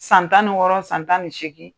San tan ni wɔɔrɔ san tan ni seegin.